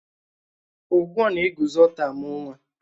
Ugwo na-eguzo ọ̀tọ́ amú nwa